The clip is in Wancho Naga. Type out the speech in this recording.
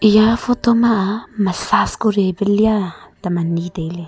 eya photo ma a massage kori e pe lia tam anyi tailey.